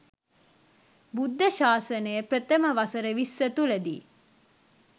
බුද්ධ ශාසනය ප්‍රථම වසර විස්ස තුළදී